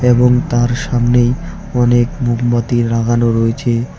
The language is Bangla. এবং তার সামনেই অনেক মোমবাতি লাগানো রয়েছে।